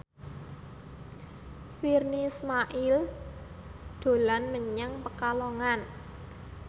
Virnie Ismail dolan menyang Pekalongan